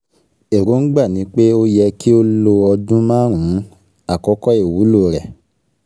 Èròǹgbà ni pé ó yẹ kí ó lo ọdún márùn-ún - Àkókò iwulo re